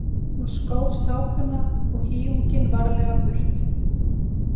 Hún skóf sápuna og hýjunginn varlega burt.